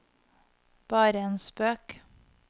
bare en spøk